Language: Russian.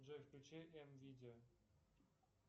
джой включи м видео